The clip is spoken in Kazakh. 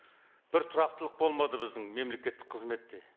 бір тұрақтылық болмады біздің мемлекеттік қызметте